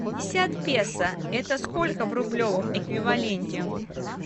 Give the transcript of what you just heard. пятьдесят песо это сколько в рублевом эквиваленте